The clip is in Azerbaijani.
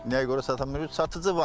Nəyə görə sata bilmirik?